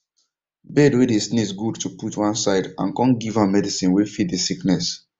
bird way dey sneeze good to put one side and come give am medicine way fit the sickness